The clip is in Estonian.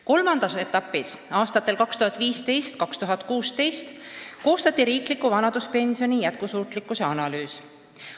Kolmandas etapis, aastatel 2015–2016, koostati riikliku vanaduspensioni jätkusuutlikkuse analüüs.